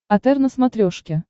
отр на смотрешке